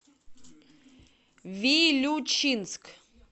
вилючинск